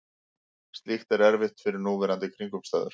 Slíkt er erfitt við núverandi kringumstæður.